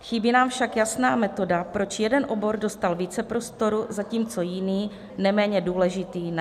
Chybí nám však jasná metoda, proč jeden obor dostal více prostoru, zatímco jiný, neméně důležitý, ne.